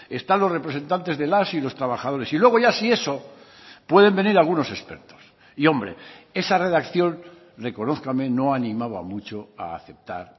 están los representantes de las y los trabajadores y luego ya si eso pueden venir algunos expertos y hombre esa redacción reconózcame no animaba mucho a aceptar